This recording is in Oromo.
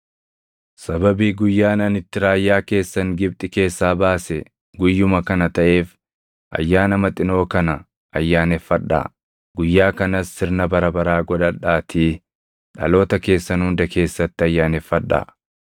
“Sababii guyyaan ani itti raayyaa keessan Gibxi keessaa baase guyyuma kana taʼeef Ayyaana Maxinoo kana ayyaaneffadhaa; guyyaa kanas sirna bara baraa godhadhaatii dhaloota keessan hunda keessatti ayyaaneffadhaa.